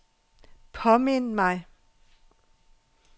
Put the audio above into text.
påmind mig